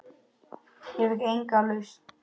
Ég fékk enga lausn.